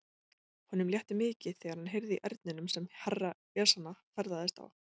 Honum létti mikið þegar hann heyrði í erninum sem Herra Ezana ferðaðist á.